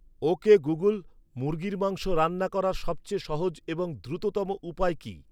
ওকে Google মুরগীর মাংস রান্না করার সবচেয়ে সহজ এবং দ্রুততম উপায় কি